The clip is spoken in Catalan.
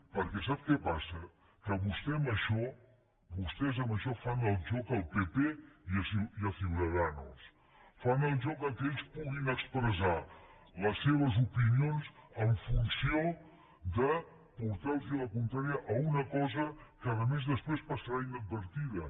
perquè sap què passa que vostè amb això vostès amb això fan el joc al pp i a ciudadanos fan el joc que ells puguin expressar les seves opinions en funció de portar los la contrària a una cosa que a més després passarà inadvertida